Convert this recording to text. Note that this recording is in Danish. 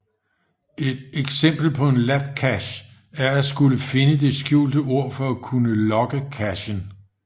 Et eksempel på en labcache er at skulle finde det skjulte ord for at kunne logge cachen